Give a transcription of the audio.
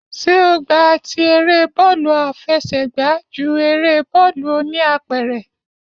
Ṣé o gba ti eré bọ́ọ̀lù àfẹsẹ̀gba ju eré bọ́ọ̀lù oníapẹ̀rẹ̀?